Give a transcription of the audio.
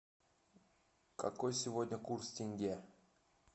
какой сегодня курс тенге